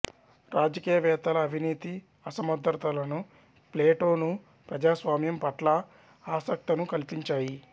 రాజకీయ వేత్తల అవినీతి అసమర్ధతలను ప్లేటో ను ప్రజాస్వామ్యం పట్ల ఆసక్తను కల్పించాయి